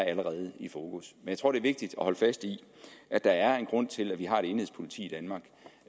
allerede i fokus jeg tror det er vigtigt at holde fast i at der er en grund til at vi har et enhedspoliti